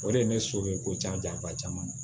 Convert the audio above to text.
O de ye ne so ye ko ca ba caman